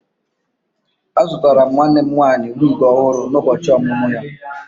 Azụtara m nwanne m nwanyị wig ọhụrụ n'ụbọchị ọmụmụ ya